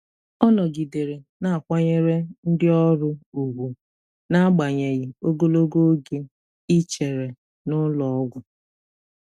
Ọ nọgidere na-akwanyere ndị ọrụ ùgwù n'agbanyeghị ogologo oge ichere na ụlọ ọgwụ.